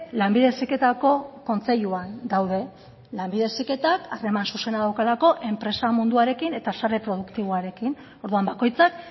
lanbide heziketako kontseiluan daude lanbide heziketak harreman zuzena daukalako enpresa munduarekin eta sare produktiboarekin orduan bakoitzak